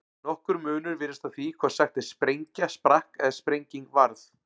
Nokkur munur virðist á því hvort sagt er sprengja sprakk eða sprenging varð.